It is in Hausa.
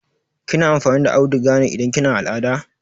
Kina amfani da auduga ne idan kina al'ada?